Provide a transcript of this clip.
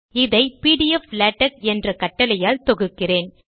இதை pdflatex என்ற கட்டளையால் தொகுக்கிறேன்